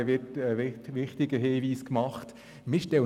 Stähli hat einen wichtigen Hinweis gegeben: